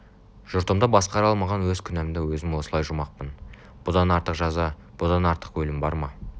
жұртымды басқара алмаған өз күнәмды өзім осылай жумақпын бұдан артық жаза бұдан артық өлім бар ма